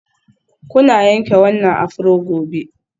Kuna yanke wannan afro gobe.